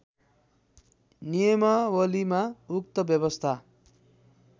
नियमावलीमा उक्त व्यवस्था